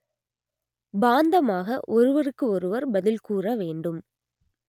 பாந்தமாக ஒருவருக்கு ஒருவர் பதில் கூற வேண்டும்